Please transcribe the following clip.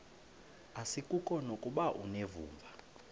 asikuko nokuba unevumba